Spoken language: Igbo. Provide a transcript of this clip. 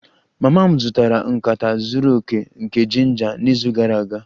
Mama m zụtara nkata zuru oke nke ginger n'izu gara aga